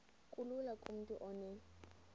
kulula kumntu onen